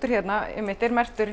hérna er merktur